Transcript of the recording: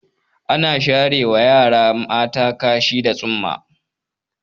Ana sharewa yara mata kashi da tsumma.